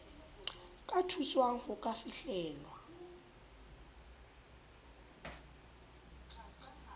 ka thuswang ho ka fihlella